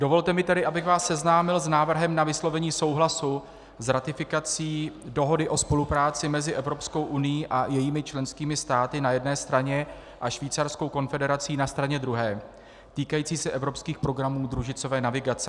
Dovolte mi tedy, abych vás seznámil s návrhem na vyslovení souhlasu s ratifikací Dohody o spolupráci mezi Evropskou unií a jejími členskými státy na jedné straně a Švýcarskou konfederací na straně druhé týkající se evropských programů družicové navigace.